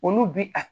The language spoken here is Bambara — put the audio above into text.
Olu bi a